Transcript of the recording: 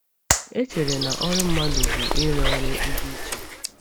E chere na ọrụ mmadụ bụ ịrụ ọrụ ndị chi.